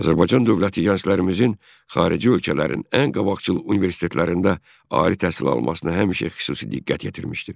Azərbaycan dövləti gənclərimizin xarici ölkələrin ən qabaqcıl universitetlərində ali təhsil almasına həmişə xüsusi diqqət yetirmişdir.